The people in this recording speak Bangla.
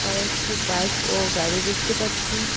কয়েকটি বাইক ও গাড়ি দেখতে পাচ্ছি।